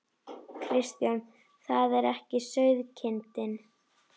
Kristján: Það er ekki sauðkindin?